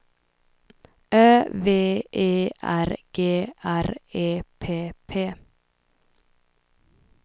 Ö V E R G R E P P